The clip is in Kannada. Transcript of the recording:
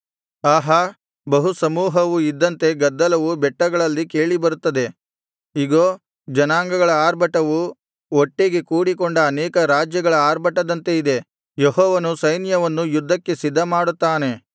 ಆಹಾ ಬಹುಸಮೂಹವು ಇದ್ದಂತೆ ಗದ್ದಲವು ಬೆಟ್ಟಗಳಲ್ಲಿ ಕೇಳಿಬರುತ್ತದೆ ಇಗೋ ಜನಾಂಗಗಳ ಆರ್ಭಟವು ಒಟ್ಟಿಗೆ ಕೂಡಿಕೊಂಡ ಅನೇಕ ರಾಜ್ಯಗಳ ಆರ್ಭಟದಂತೆ ಇದೆ ಯೆಹೋವನು ಸೈನ್ಯವನ್ನು ಯುದ್ಧಕ್ಕೆ ಸಿದ್ಧಮಾಡುತ್ತಾನೆ